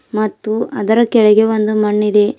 ಮತ್ತು ಅದರ ಕೆಳಗೆ ಒಂದು ಮಣ್ಣಿದೆ.